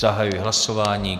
Zahajuji hlasování.